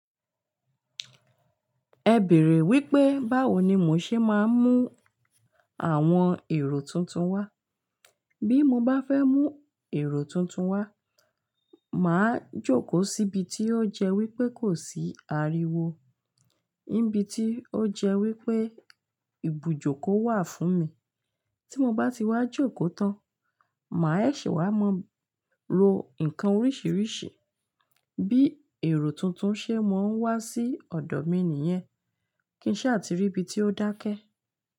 Ẹ bèèrè wípé báwo ni mò ń ṣe máa ń mú àwọn èrò tuntun wá. Bí mo bá fẹ́ mú èrò tuntun wá, màá jókòó síbi tí ó jẹ́ wípé kò sí ariwo, níbi tí ó jẹ́ wípé ibùjókòó wà fún mi. Tí mo bá ti wá jókòó tán, màá ṣẹ̀ se wá máa mo ro ǹkan oríṣiríṣi bí èrò tuntun ṣe máa ń wá sí ọ̀dọ̀ mi nìyẹn kí ń ṣà ti rí ibi tí ó dákẹ́